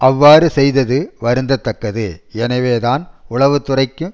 அவ்வாறு செய்தது வருந்த தக்கது எனவேதான் உளவுத்துறைக்கும்